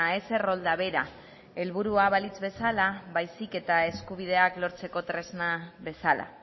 ez errolda bera helburua balitz bezala baizik eta eskubideak lortzeko tresna bezala